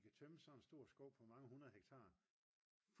de kan tømme sådan en stor skov på mange 100 hektar